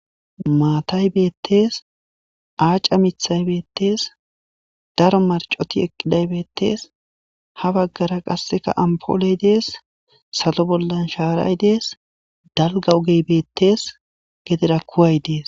maatay beettees aaca mithay beettees daro marcoti eqqiday bettees ha baggara qasseka ampooley dees salo bollan shaaray dees dalga ogey beettees gedera kuway dees